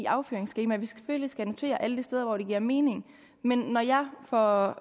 afføringsskema at vi selvfølgelig skal notere alle de steder hvor det giver mening men når jeg for